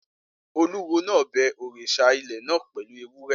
Olúwo náà bẹ òrìṣà ilẹ̀ náà pẹ̀lú ewúrẹ́